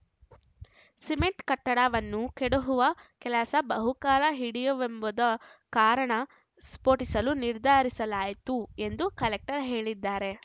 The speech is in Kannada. ಸಿಮೆಂಟ್ ಕಟ್ಟಡವನ್ನು ಕೆಡಹುವ ಕೆಲಸ ಬಹುಕಾಲ ಹಿಡಿಯುವುವೆಂಬುದು ಕಾರಣ ಸ್ಫೋಟಿಸಲು ನಿರ್ಧರಿಸಲಾಯಿತು ಎಂದೂ ಕಲೆಕ್ಟರ್ ಹೇಳಿದ್ದಾರೆ